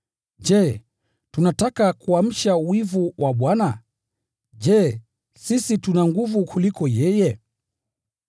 Je, tunataka kuamsha wivu wa Bwana? Je, sisi tuna nguvu kuliko yeye?